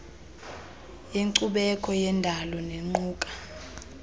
yenkcubeko neyendalo nequka